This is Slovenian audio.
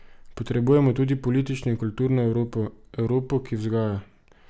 Potrebujemo tudi politično in kulturno Evropo, Evropo, ki vzgaja.